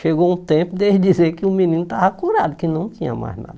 Chegou um tempo desde dizer que o menino estava curado, que não tinha mais nada.